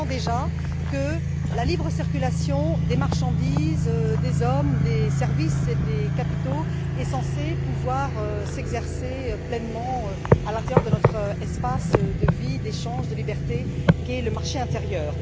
Vingt ans déjà que la libre circulation des marchandises, des hommes, des services et des capitaux est censée pouvoir s'exercer pleinement à l'intérieur de notre espace de vie, d'échange, de liberté qu'est le marché intérieur.